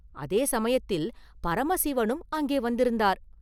அதே சமயத்தில் பரமசிவனும் அங்கே வந்திருந்தார்.